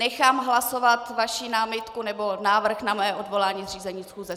Nechám hlasovat vaší námitku, nebo návrh na moje odvolání z řízení schůze.